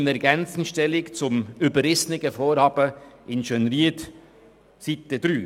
Ich nehme ergänzend Stellung zum überrissenen Vorhaben in Schönried auf Seite 3.